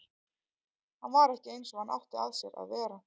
Hann var ekki eins og hann átti að sér að vera.